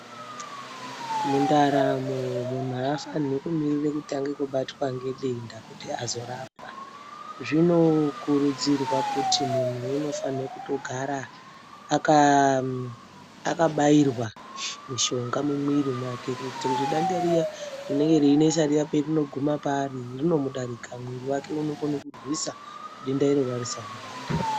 Mundaramo munhu haafanirwi kumirire kutanga kubatwe nedenda kuti azorapwa. Zvinokurudzirwa kuti munhu unofane kutogara akabairwa mishonga mumwiri mwake kuitire kuti denda riya rine reinesa riya perinoguma paari rinomudarika. Mwiri wake unokono kurwisa denda iroro harisamubata.